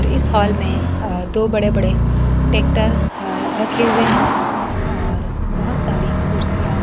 इस हाल में दो बड़े बड़े ट्रैक्टर रखे हुए हैं और बहोत सारी कुर्सियां--